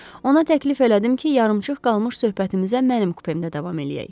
Ona təklif elədim ki, yarımçıq qalmış söhbətimizə mənim kupemdə davam eləyək.